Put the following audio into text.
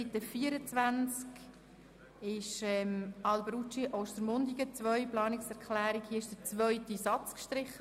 Auf Seite 24 wurde der zweite Satz der Planungserklärung Alberucci gestrichen.